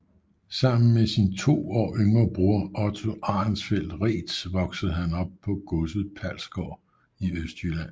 Sammen med sin to år yngre bror Otto Arenfeldt Reedtz voksede han op på godset Palsgaard i Østjylland